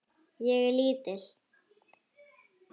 Ég er lítil.